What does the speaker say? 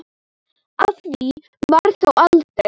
Af því varð þó aldrei.